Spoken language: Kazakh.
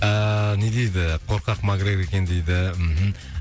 ыыы не дейді қорқак макгрегор екен дейді мхм